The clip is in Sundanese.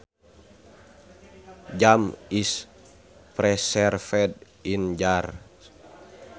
Jam is preserved in jars